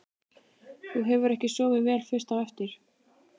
Þú hefur ekki sofið vel fyrst á eftir?